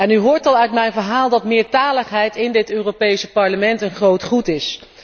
U hoort al uit mijn verhaal dat meertaligheid in dit Europees Parlement een groot goed is.